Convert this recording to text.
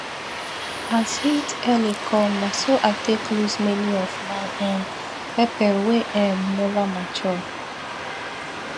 as heat early come na so i take loss many of my um pepper wey um never mature